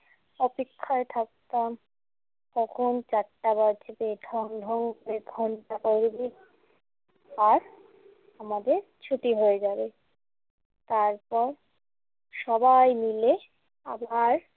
অপেক্ষায় থাকতাম কখন চারটা বাজবে, ঢং ঢং করে ঘণ্টা পড়বে। আর আমাদের ছুটি হয়ে যাবে। তারপর সবাই মিলে আবার